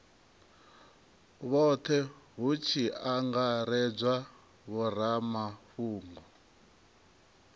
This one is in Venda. vhothe hu tshi angaredzwa vhoramafhungo